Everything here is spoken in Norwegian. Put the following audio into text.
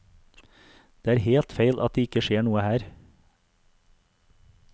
Det er helt feil at det ikke skjer noe her.